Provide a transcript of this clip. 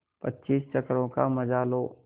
पच्चीस चक्करों का मजा लो